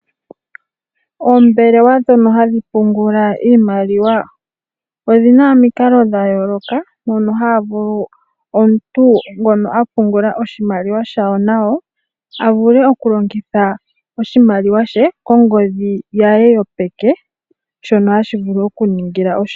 Oombelelwa ndhono hadhi pungula iimaliwa odhina omikalo dhayooloka mono haya vulu omuntu ngono apungula oshimaliwa shawo nayo avule okulongitha oshimaliwa she kongodhi ye yopeke sho o hashi vulu oku mu ningila oshipu.